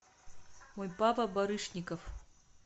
мой папа барышников